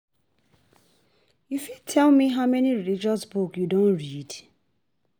u fit tell me how many religious books you don read?